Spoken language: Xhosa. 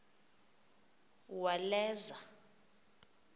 uwaleza